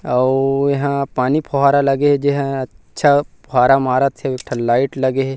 अउ एहा पानी फोहारा लगे हे जे ह अच्छा फुहारा मारत हे अउ एक ठन लाइट लगे हे।